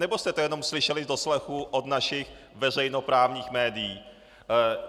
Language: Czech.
Anebo jste to jenom slyšeli z doslechu od našich veřejnoprávních médií?